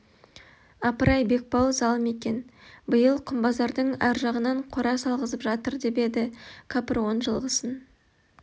апырай бекбауыл залым екен биыл құмбазардың әр жағынан қора салғызып жатыр деп еді кәпір он жылғысын